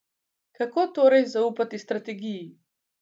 Kako torej zaupati strategiji?